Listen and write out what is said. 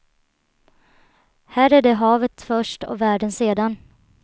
Här är det havet först och världen sedan.